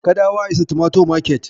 Kadawa is a tomato market.